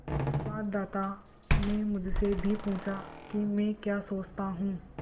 संवाददाता ने मुझसे भी पूछा कि मैं क्या सोचता हूँ